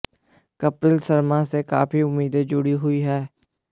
कपिल शर्मा से काफी उम्मीदें जुड़ी हुई हैं